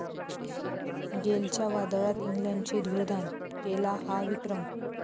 गेलच्या वादळात इंग्लंडची धूळधाण, केला 'हा' विक्रम